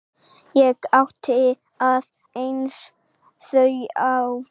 Ég átti aðeins þrjú eftir.